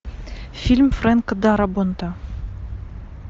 фильм фрэнка дарабонта